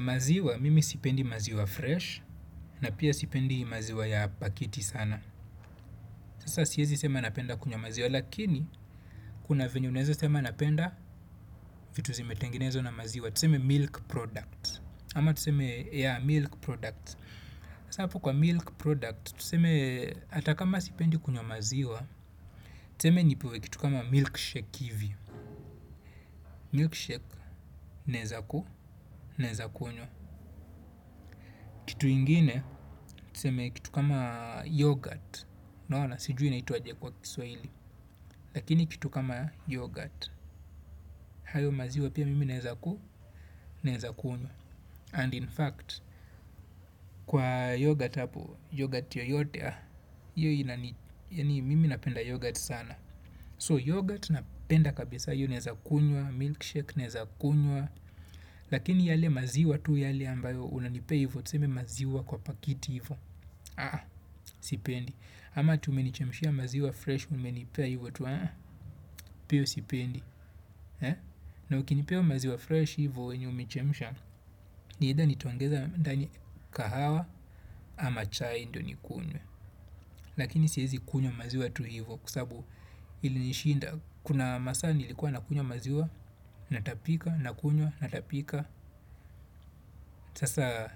Maziwa, mimi sipendi maziwa fresh na pia sipendi maziwa ya pakiti sana sasa siezi sema napenda kunywa maziwa lakini, kuna venye unaeza sema napenda vitu zimetengenezwa na maziwa tuseme milk products ama tuseme yea milk product sasa hapo kwa milk product tuseme, hata kama sipendi kunywa maziwa tuseme nipewe kitu kama milkshake hivi milkshake, naeza ku, naeza kunywa kitu ingine, tuseme kitu kama yogurt unaona sijui inaitwa aje kwa Kiswahili. Lakini kitu kama yogurt. Hayo maziwa pia mimi naeza ku naeza kunywa. And in fact kwa yogurt hapo yogurt yoyote hiyo inani. Mimi napenda yogurt sana. So yogurt napenda kabisa hiyo naeza kunywa. Milkshake naeza kunywa. Lakini yale maziwa tu yale ambayo unanipea hivo tuseme maziwa kwa pakiti hivyo. Aa. Sipendi. Ama ati umenichemshia maziwa fresh. Umenipea hivyo tu ee. Pia hiyo sipendi e na ukinipea maziwa fresh hivyo yenye umechemisha either nitaongeza ndani kahawa ama chai ndo nikunywe lakini siezi kunywa maziwa tu hivyo kwa sababu ilinishinda kuna masaa nilikuwa nakunywa maziwa natapika, nakunywa natapika. Sasa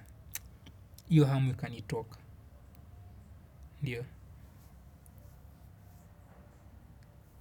hiyo hamu ikanitoka. Ndiyo.